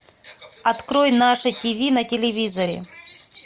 открой наше ти ви на телевизоре